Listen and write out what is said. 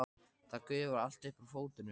Það gufar allt upp úr fötunum.